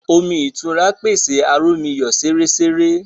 Omí ìtura pèsè aromiyo seresere